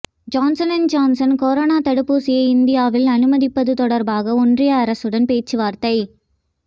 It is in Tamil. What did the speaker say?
ஜான்சன் அண்ட் ஜான்சன் கொரோனா தடுப்பூசியை இந்தியாவில் அனுமதிப்பது தொடர்பாக ஒன்றிய அரசுடன் பேச்சுவார்த்தை